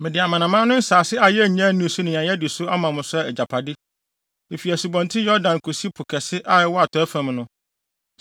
Mede amanaman no nsase a yennya nnii so ne nea yɛadi so ama mo sɛ mo agyapade, efi Asubɔnten Yordan kosi Po Kɛse a ɛwɔ atɔe fam no.